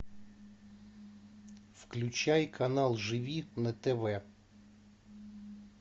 включай канал живи на тв